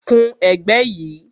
Kun ẹ̀gbẹ́ yìí